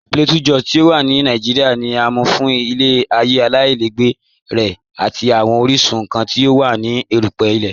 P̀lateau Jòs ti o wà ní Nàìjíríà, ní à mú fún ilẹ̀-ayé aláìlẹ̀gbẹ̀ rẹ̀ àti awọn oríṣun nkàn ti o wà ní èrùpẹ̀ ilẹ̀.